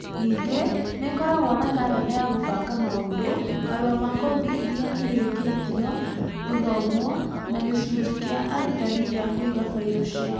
Ningĩ nĩ ĩkoragwo na karenda ya kũbanga maũndũ, marũa ma kothi iria irĩkĩtio gũthomwo, na gĩcunjĩ kĩa arutani gĩa kũiga bairo ciao.